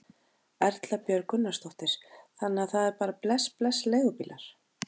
Erla Björg Gunnarsdóttir: Þannig að það er bara bless bless leigubílar?